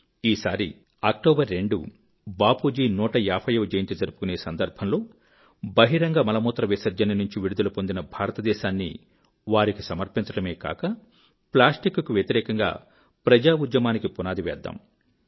ఈ సారి 2 అక్టోబర్ బాపూజీ 150 వ జయంతి జరుపుకునే సందర్భంలో బహిరంగ మలమూత్ర విసర్జన నుంచి విడుదల పొందిన భారతదేశాన్ని వారికి సమర్పించడమే కాక ప్లాస్టిక్ కు వ్యతిరేకంగా ప్రజా ఉద్యమానికి పునాది వేద్దాము